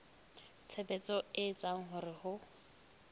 tshebetso e etsang hore ho